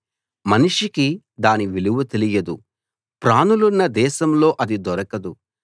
మనిషికి దాని విలువ తెలియదు ప్రాణులున్న దేశంలో అది దొరకదు